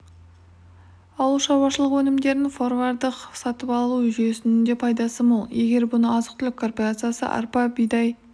ауыл шаруашылық өнімдерін форвардтық сатып алу жүесінің де пайдасы мол егер бұрын азық-түлік корпорациясы арпа-бидай